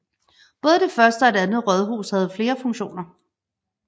Både det første og det andet rådhus havde flere funktioner